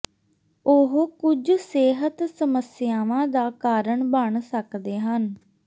ਉਹ ਕੁਝ ਸਿਹਤ ਸਮੱਸਿਆਵਾਂ ਦਾ ਕਾਰਨ ਬਣ ਸਕਦੇ ਹਨ